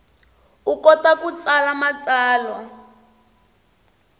u kota ku tsala matsalwa